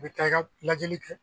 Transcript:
I bɛ taa ka lajɛli kɛ